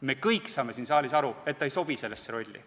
Me kõik saame siin saalis aru, et ta ei sobi sellesse rolli.